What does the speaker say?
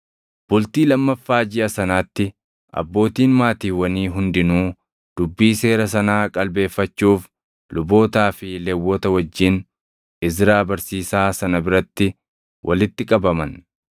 Bultii lammaffaa jiʼa sanaatti abbootiin maatiiwwanii hundinuu dubbii Seera sanaa qalbeeffachuuf lubootaa fi Lewwota wajjin Izraa barsiisaa sana biratti walitti qabaman.